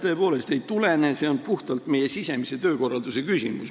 Tõepoolest ei tulene, see on puhtalt meie sisemise töökorralduse küsimus.